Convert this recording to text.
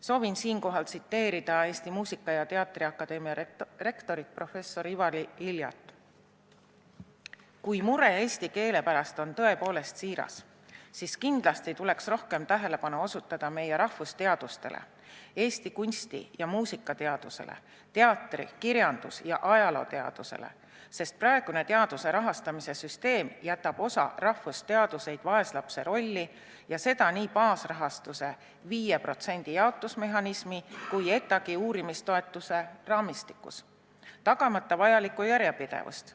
Soovin siinkohal tsiteerida Eesti Muusika- ja Teatriakadeemia rektorit professor Ivari Iljat: "Kui mure eesti keele pärast on siiras, siis kindlasti tuleks rohkem tähelepanu osutada meie rahvusteadustele, eesti kunsti- ja muusikateadusele, teatri-, kirjandus- ja ajalooteadusele, sest praegune teaduse rahastamise süsteem jätab osa rahvusteaduseid vaeslapse rolli ja seda nii baasrahastuse, 5% jaotusmehhanismi kui ETA-gi uurimistoetuse raamistikus, tagamata vajalikku järjepidevust.